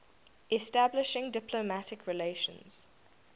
establishing diplomatic relations